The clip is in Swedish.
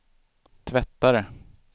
tvättare